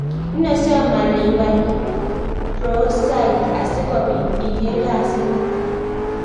Nosom ale iwal browsait asikopit iger kasit niton